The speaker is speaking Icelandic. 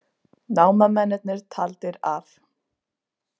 Námamennirnir taldir af